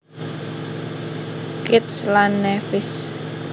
Kitts lan Nevis